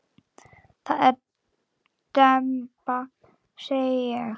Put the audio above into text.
Það er demba segi ég.